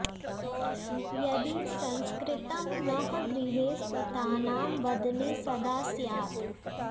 यदि संस्कृतं नः गृहे सुतानां वदने सदा स्यात्